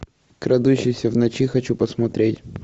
крадущийся в ночи хочу посмотреть